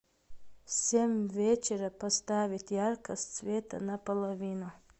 в семь вечера поставить яркость света на половину